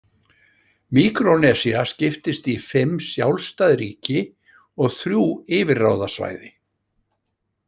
Míkrónesía skiptist í fimm sjálfstæð ríki og þrjú yfirráðasvæði.